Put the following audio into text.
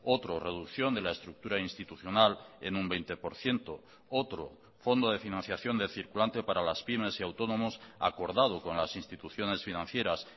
otro reducción de la estructura institucional en un veinte por ciento otro fondo de financiación de circulante para las pymes y autónomos acordado con las instituciones financieras